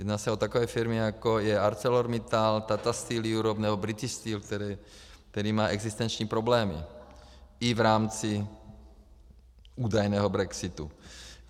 Jedná se o takové firmy, jako je ArcelorMittal, Tata Steel Europe nebo British Steel, který má existenční problémy i v rámci údajného brexitu.